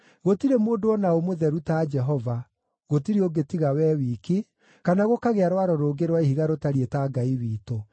“Gũtirĩ mũndũ o na ũ mũtheru ta Jehova; gũtirĩ ũngĩ tiga wee wiki, kana gũkagĩa Rwaro rũngĩ rwa Ihiga rũtariĩ ta Ngai witũ.